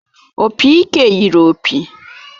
Opị ike yiri opi